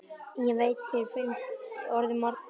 Ég veit að þér finnst ég orðmörg.